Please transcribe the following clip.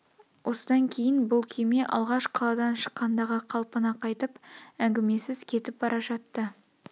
осыдан кейін бұл күйме алғаш қаладан шыққандағы қалпына қайтып әңгмесіз кетіп бара жатты